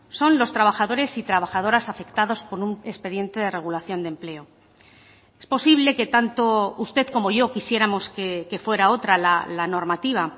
son los trabajadores y trabajadoras afectados por un expediente de regulación de empleo es posible que tanto usted como yo quisiéramos que fuera otra la normativa